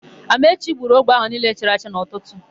Amaechi gburu ogbe akwụ niile chara acha n'ụtụtụ.